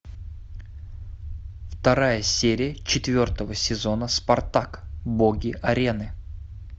вторая серия четвертого сезона спартак боги арены